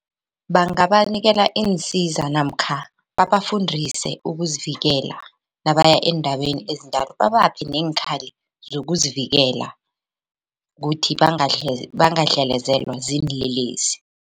Bangabanikela iinsiza namkha babafundise ukuzivikela nabaya eendaweni ezinjalo babaphe neenkhali zokuzivikela kuthi bangadlelezelwa ziinlelesi.